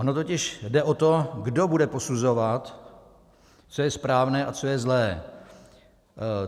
Ono totiž jde o to, kdo bude posuzovat, co je správné a co je zlé.